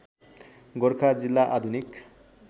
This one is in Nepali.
गोरखा जिल्ला आधुनिक